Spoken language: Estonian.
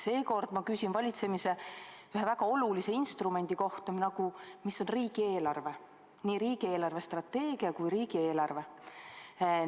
Seekord küsin ma valitsemise ühe väga olulise instrumendi kohta, riigieelarve, nii riigi eelarvestrateegia kui ka riigieelarve kohta.